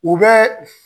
U bɛ